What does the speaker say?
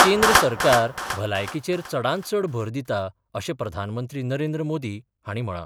केंद्र सरकार भलायकीचेर चडांतचड भर दिता अशें प्रधानमंत्री नरेंद्र मोदी हांणी म्हळां.